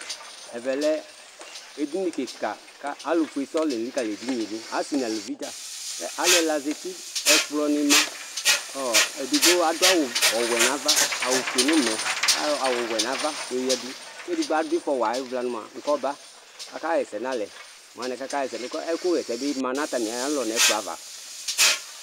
Ɛvɛ lɛ edini kika ku alu ɔfue sɔŋ la elikali edini yɛ du asi nu aluvi ta alu ɛla za uti ɛkplɔni ma kɔ edigbo adu awu ɔwɛ nu ava awu fue nu ume ayɔ awu ɔwɛ nu ava yɔyadu ku edigbo adu ifɔ wa ayu ɔvla yɛ nu mua kɔba aka ɣa ɛsɛ nu alɛ mu anɛ ku aka ɣa ɛsɛ ɛkuɣa ɛsɛ ma nu atami alɔ nu ɛkplɔ ava